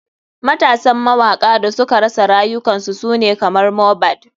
Matasan mawaka da suka rasa rayukan su sune kamar mohbad.